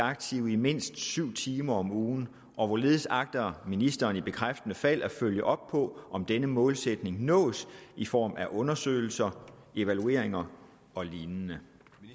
aktive i mindst syv timer om ugen og hvorledes agter ministeren i bekræftende fald at følge op på om denne målsætning nås i form af undersøgelser evalueringer og lignende